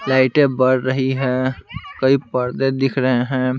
लाइटें बढ़ रही है कई पर्दे दिख रहे हैं।